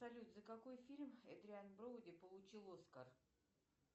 салют за какой фильм эдриан броуди получил оскар